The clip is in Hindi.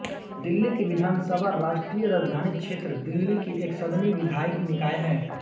दिल्ली की विधानसभा राष्ट्रीय राजधानी क्षेत्र दिल्ली की एकसदनी विधायी निकाय है